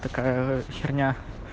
такая херня